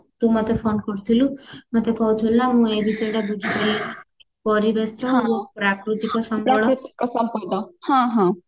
ତୁ ମତେ phone କରିଥିଲୁ ମତେ କହୁଥିଲୁ ନା ମୁଁ ଏଇ ବିଷୟଟା ବୁଝି ପାରିଲିନି ପରିବେଶ ଆଉ ପ୍ରାକୃତିକ ସମ୍ବଳ ହଁ ହଁ